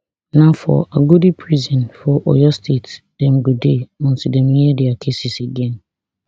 na for agodi prison for oyo state dem go dey until dem hear dia cases again